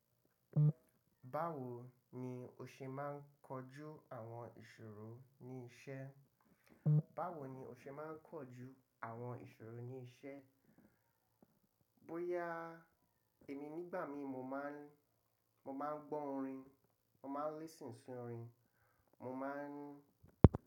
Báwo ni o ṣe máa ń kojú àwọn ìṣòro ní iṣẹ́? Báwo ni o ṣe máa ń kojú àwọn ìṣòro ní iṣẹ́? Bóyá èmi nígbà mi mo máa ń, mo máa ń gbọ́ orin, mo máa ń listen sí orin, mo máa ń.